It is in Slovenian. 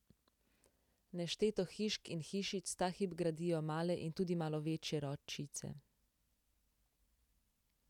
Nešteto hišk in hišic ta hip gradijo male in tudi malo večje ročice.